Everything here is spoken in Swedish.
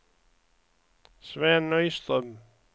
Sven Nyström